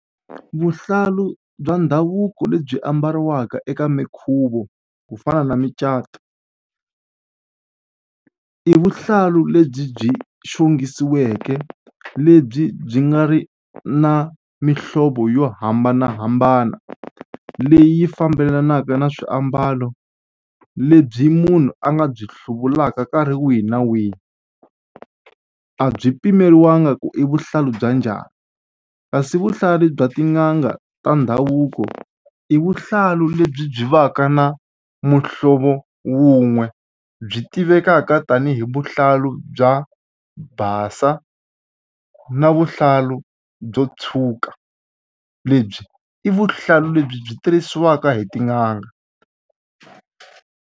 Vuhlalu bya ndhavuko lebyi ambariwaka eka minkhuvo ku fana na micato i vuhlalu lebyi byi xongisiweke lebyi byi nga ri na mihlovo yo hambanahambana leyi fambelanaka na swiambalo lebyi munhu a nga byi hluvulaka nkarhi wihi na wihi a byi pimeriwangi ku i vuhlalu bya njhani kasi vuhlalu bya tin'anga ta ndhavuko i vuhlalu lebyi byi va ka na muhlovo wun'we byi tivekaka tanihi vuhlalu bya basa na vuhlalu byo tshuka lebyi i vuhlalu lebyi byi tirhisiwaka hi tin'anga.